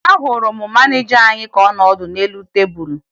Ahụrụ m maneja anyị ka ọ nọ ọdụ n'elu tebulu